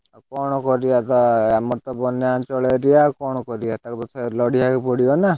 କଣ କରିଆ ତା ଆମର ତ ବନ୍ୟା ଅଞ୍ଚଳ area ଆଉ କଣ କରିଆ, ସରକାରଙ୍କ ସାଙ୍ଗରେ ଲଢିଆକୁ ପଡିବ ନା!